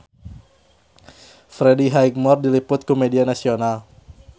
Freddie Highmore diliput ku media nasional